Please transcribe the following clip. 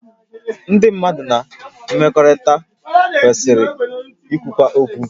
Ndị mmadụ na mmekọrịta kwesịrị ikwukwu okwu